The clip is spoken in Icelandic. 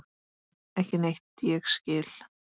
Ekki neitt ég skil.